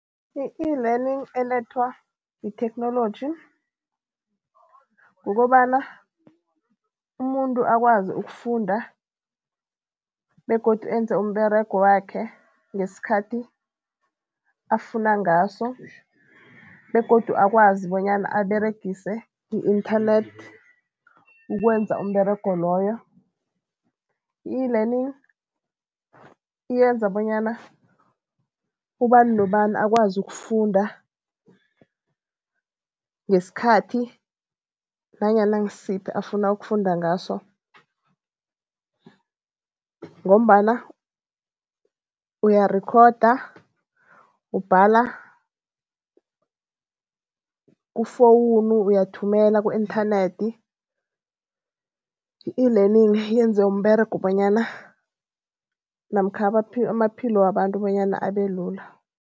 I-eLearning elethwa yitheknoloji, kukobana umuntu akwazi ukufunda begodu enza umberego wakhe ngesikhathi afuna ngaso begodu akwazi bonyana aberegise i-internet ukwenza umberego loyo. I-eLearning yenza bonyana ubani nobani akwazi ukufunda, ngesikhathi nanyana ngisiphi afuna ukufunda ngaso ngombana uyarikhoda, ubhala kufowunu, uyathumela ku-inthanethi. I-eLearning yenze umberego bonyana namkha amaphilo wabantu bonyana abe lula.